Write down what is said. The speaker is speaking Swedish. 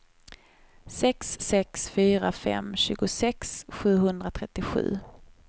sex sex fyra fem tjugosex sjuhundratrettiosju